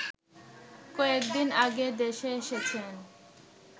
কয়েকদিন আগে দেশে এসেছেন